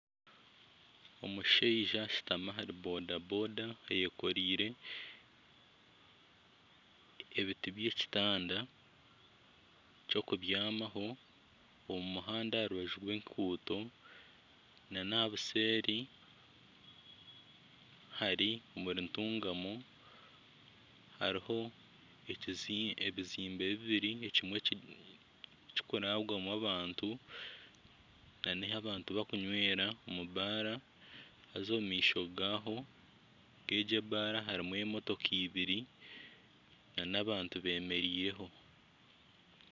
Omushaija ashutami ahari bodaboda ayekoreire ebiti by'ekitanda ky'okubyamaho. Omu muhanda aha rubaju rw'enguuto n'aha buseeri hari omuri Ntungamo. Hariho ebizimbe bibiri, ekimwe kikurarwamu abantu n'ahi abantu bakunywera omu baara. Haza omu maisho gaaho, gegyo ebaara hariho emotoka ibiri n'abantu bemereireho.